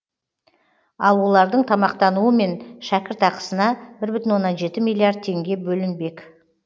ал олардың тамақтануы мен шәкіртақысына бір бүтін оннан жеті миллиард теңге бөлінбек